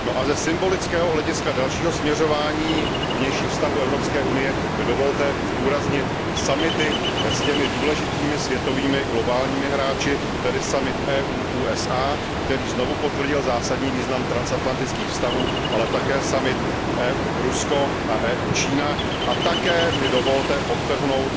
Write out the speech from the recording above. No a ze symbolického hlediska dalšího směřování vnějších vztahů Evropské unie mi dovolte zdůraznit summity s těmi důležitými světovými globálními hráči, tedy summit EU USA, který znovu potvrdil zásadní význam transatlantických vztahů, ale také summit EU Rusko a EU Čína a také mi dovolte podtrhnout